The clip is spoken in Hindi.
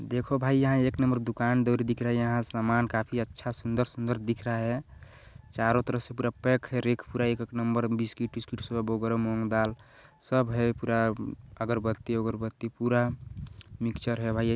देखो भाई यहाँ एक नंबर दुकान डोरी दिख रहा है यहाँ सामान काफी अच्छा सुन्दर सुन्दर दिख रहा है चारों तरफ से पूरा पैक है रैक पूरा एक एक नंबर बिस्कुट विस्कीट सब वगैरह मूंग दाल सब है पूरा अगर बत्ती वगर बत्ती पूरा मिक्चर है भाई।